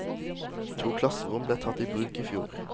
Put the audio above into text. To klasserom ble tatt i bruk i fjor.